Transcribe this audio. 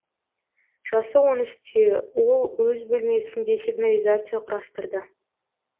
жасы он үште ол өз бөлмесінде сигнализация құрастырды